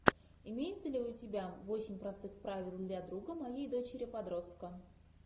имеется ли у тебя восемь простых правил для друга моей дочери подростка